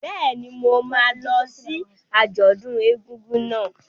Bẹ́ẹ̀ni, mo máa lọ sí àjọ̀dún ọdún egúngún náà.